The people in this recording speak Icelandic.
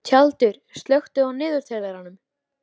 Tjaldur, slökktu á niðurteljaranum.